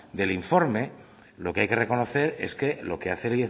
del informe lo que hay que reconocer es que lo que hace